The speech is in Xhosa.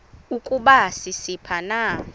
ukuba sisiphi na